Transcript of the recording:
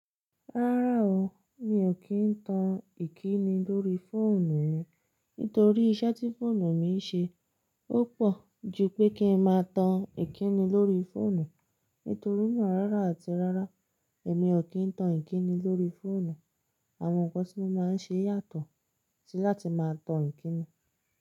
Rárá o, mi ò kí ń tan ìkíni lórí fóònù mi, nítorí iṣẹ́ tí fóònù mi ń ṣe ó pọ̀ ju pé kí ń máa tan ìkíni lórí fóònù. Nítorí náà rárá àti rárá èmi ò kí ń tan ìkíni lórí fóònù. Àwọn ǹkan tí mo máa ń ṣe yàtọ̀ sí láti máa tan ìkíni.